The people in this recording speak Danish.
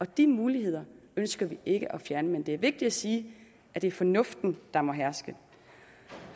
de muligheder ønsker vi ikke at fjerne men det er vigtigt at sige at det er fornuften der må herske